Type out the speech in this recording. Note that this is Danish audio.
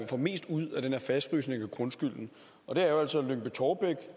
få mest ud af den her fastfrysning af grundskylden og det er jo altså